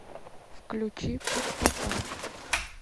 включи пустота